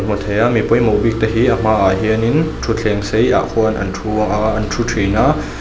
hmu thei a mi pawimawh bik te hi a hmaah hianin thuthleng sei ah khuan an thu a an thu thin a.